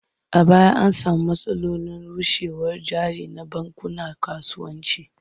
A baya an sami matsalolin arushewar jari na bankunan kasuwanci.